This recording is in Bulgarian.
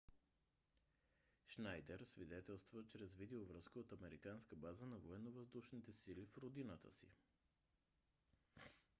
шнайдер свидетелства чрез видеовръзка от американска база на военновъздушните сили в родината си